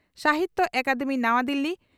ᱥᱟᱦᱤᱛᱭᱚ ᱟᱠᱟᱫᱮᱢᱤ ᱱᱟᱣᱟ ᱫᱤᱞᱤ